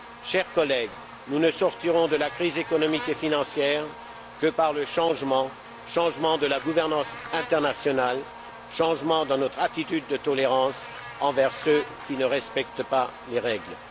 Chers collègues, nous ne sortirons de la crise économique et financière que par le changement, changement de la gouvernance internationale, changement dans notre attitude de tolérance envers ceux qui ne respectent pas les règles.